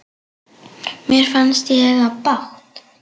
Mér fannst ég eiga bágt.